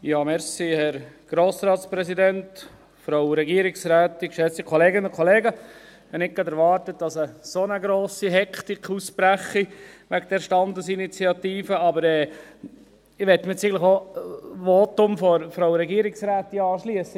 Ich habe nicht gerade erwartet, dass eine so grosse Hektik ausbricht wegen dieser Standesinitiative, aber ich möchte jetzt auch an das Votum der Frau Regierungsrätin anschliessen.